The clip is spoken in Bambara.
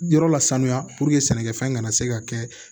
Yɔrɔ la sanuya sɛnɛkɛfɛn kana se ka kɛ